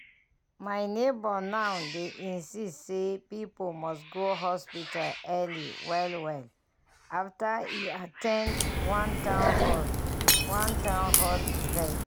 my neighbor now dey insist say people must go hospital early well well after e at ten d one town hall one town hall event.